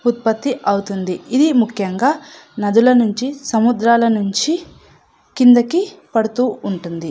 ఉత్పతి అవుతుంది. ఇది ముఖ్యంగా సముద్రం నుండి నదుల నుండి కిందకి పడుతు ఉంటుంది.